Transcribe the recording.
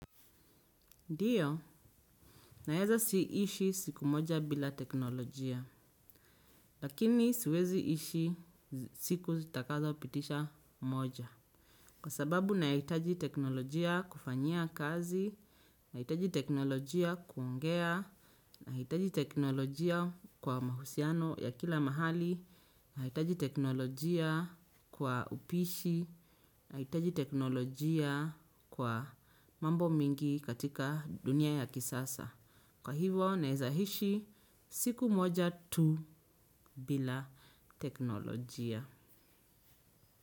Ndio, naeza ishi siku moja bila teknolojia, lakini siwezi ishi siku zitakazo pitisha moja. Kwa sababu nahitaji teknolojia kufanyia kazi, nahitaji teknolojia kuongea, nahitaji teknolojia kwa mahusiano ya kila mahali, nahitaji teknolojia kwa upishi, nahitaji teknolojia kwa mambo mingi katika dunia ya kisasa. Kwa hivyo, naeza ishi siku moja tu bila teknolojia.